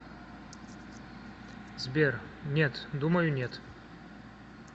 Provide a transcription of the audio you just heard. сбер нет думаю нет